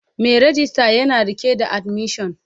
Mai rejista yana rike da admission